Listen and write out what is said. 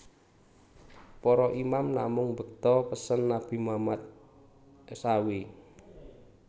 Para Imam namung mbekta pesen Nabi Muhammad saw